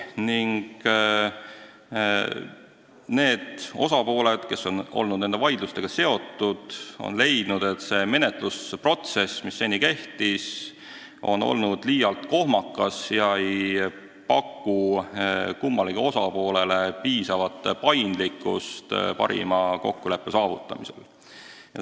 Ning need osapooled, kes on olnud nende vaidlustega seotud, on leidnud, et seni kehtiv menetlusprotsess on liialt kohmakas ega paku kummalegi osapoolele piisavat paindlikkust, saavutamaks parim kokkulepe.